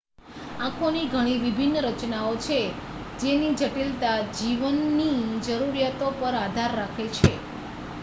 આંખોની ઘણી વિભિન્ન રચનાઓ છે જેની જટિલતા જીવની જરૂરિયાતો પર આધાર રાખે છે